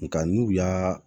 Nka n'u y'a